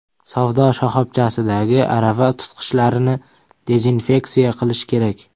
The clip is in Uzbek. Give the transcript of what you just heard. Savdo shoxobchasidagi arava tutqichlarini dezinfeksiya qilish kerak.